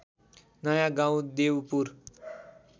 नयाँ गाउँ देउपुर